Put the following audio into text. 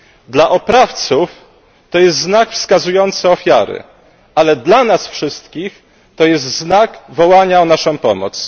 Dla oprawców to jest znak wskazujący ofiary, ale dla nas wszystkich to jest znak wołania o naszą pomoc.